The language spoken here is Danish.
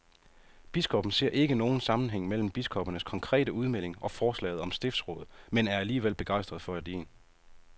Biskoppen ser ikke nogen sammenhæng mellem biskoppernes konkrete udmelding og forslaget om stiftsråd, men er alligevel begejstret for ideen.